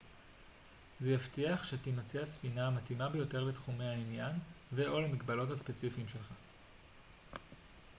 זה יבטיח שתימצא הספינה המתאימה ביותר לתחומי העניין ו/או למגבלות הספציפיים שלך